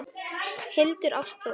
Hildur Ástþór.